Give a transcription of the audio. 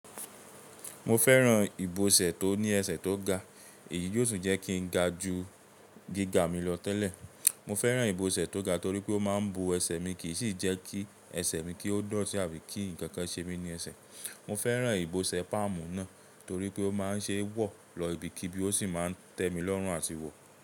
Mo fẹ́ràn ìbọsẹ̀ tó ní ẹsẹ̀ tó ga. Èyí yóò tún jẹ́ kí n ga ju gíga mi lọ tẹ́lẹ̀. Mo fẹ́ràn ìbọsẹ̀ tó ga torí pé ó máa ń bo ẹsẹ̀ mi, kì í sì jẹ́ kí ẹsẹ̀ mi ki ọ́ doti àbí kí ǹkan kan ṣe mí ní ẹsẹ̀. Mo fẹ́ràn ìbọsẹ̀ páàmù náà torí pé ó máa ń ṣe é wọ̀ lọ ibikíbi, ó sì máa ń tẹ mi lọ́rùn àtìwò.